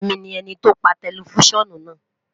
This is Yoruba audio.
Emi ni ẹniti o pa tẹlifisiọnu naa